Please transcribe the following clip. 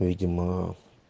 видимо